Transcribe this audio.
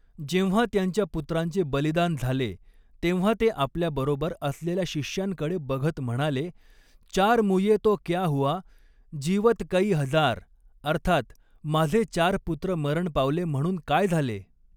जेव्हा त्यांच्या पुत्रांचे बलिदान झाले, तेव्हा ते आपल्या बरोबर असलेल्या शिष्यांकडे बघत म्हणाले, चार मूये तो क्या हुआ, जीवत कई हज़ार अर्थात माझे चार पुत्र मरण पावले म्हणून काय झाले?